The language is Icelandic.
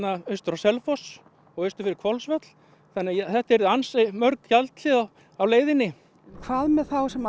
austur á Selfoss og austur fyrir Hvolsvöll þannig að þetta yrðu ansi mörg gjaldhlið á á leiðinni hvað með þá sem